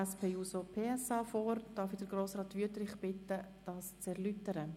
Ich bitte Grossrat Wüthrich, den Antrag zu erläutern.